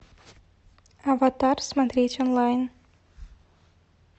аватар смотреть онлайн